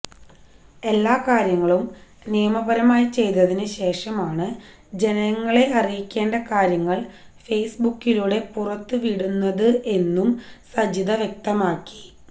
എല്ലാ കാര്യങ്ങളും നിയമപരമായി ചെയ്തതിന് ശേഷമാണ് ജനങ്ങളെ അറിയിക്കേണ്ട കാര്യങ്ങള് ഫേസ്ബുക്കിലൂടെ പുറത്ത് വിടുന്നത് എന്നും സജിത വ്യക്തമാക്കി